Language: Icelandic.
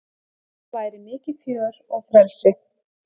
Þarna væri mikið fjör og frelsi